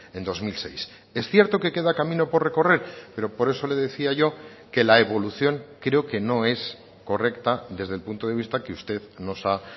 en dos mil seis es cierto que queda camino por recorrer pero por eso le decía yo que la evolución creo que no es correcta desde el punto de vista que usted nos ha